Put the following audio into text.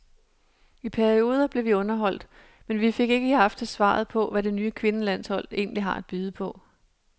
I perioder blev vi underholdt, men vi fik ikke i aftes svaret på, hvad det nye kvindelandshold egentlig har at byde på.